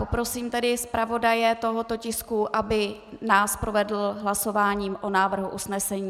Poprosím tedy zpravodaje tohoto tisku, aby nás provedl hlasováním o návrhu usnesení.